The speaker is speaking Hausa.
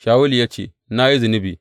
Shawulu ya ce, Na yi zunubi.